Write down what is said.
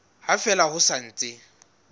ha fela ho sa ntse